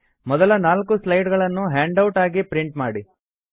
ಮೊದಲ ನಾಲ್ಕು ಸ್ಲೈಡ್ ಗಳನ್ನು ಹ್ಯಾಂಡ್ ಔಟ್ ಆಗಿ ಪ್ರಿಂಟ್ ಮಾಡಿ